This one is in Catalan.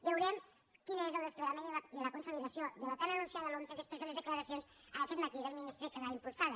veurem quin és el desplegament i la con·solidació de la tan anunciada lomce després de les declaracions aquest matí del ministre que l’ha impul·sada